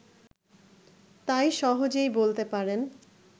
তাই সহজেই বলতে পারেন